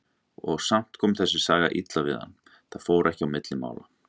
Og samt kom þessi saga illa við hann, það fór ekki á milli mála.